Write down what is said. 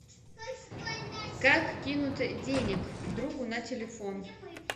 как кинуть денег другу на телефон